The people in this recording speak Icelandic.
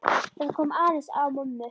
Það kom aðeins á mömmu.